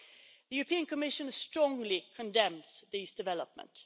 The European Commission strongly condemns these developments.